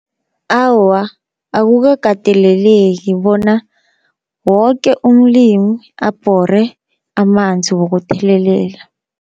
Awa, akukakateleleki bona woke umlimi abhore amanzi wokuthelelela.